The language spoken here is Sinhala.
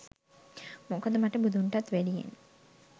මොකද මට බුදුන්ටත් වැඩියෙන්